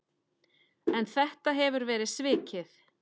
En þetta hefur verið svikið.